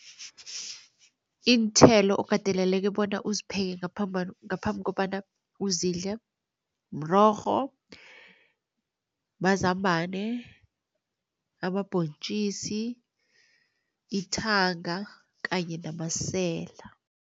Iinthelo okateleleke bonyana uzipheke ngaphambi kobana uzidle mrorho, mazambane, amabhontjisi, ithanga kanye namasela.